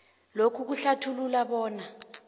lokhu kuhlathulula bona